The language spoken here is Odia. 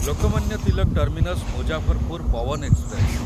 Lokmanya Tilak terminus Muzaffarpur Pawan express